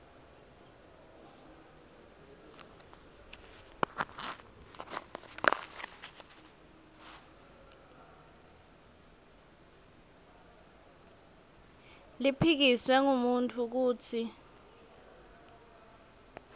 liphikiswe ngumuntfu kutsi